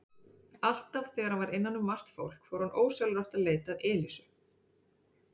Alltaf þegar hann var innan um margt fólk fór hann ósjálfrátt að leita að Elísu.